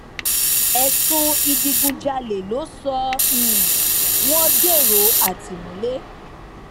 ẹsùn ìdígunjalè ló sọ um wọn dèrò àtìmọlé